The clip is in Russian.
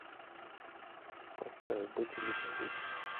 поставь быть или не быть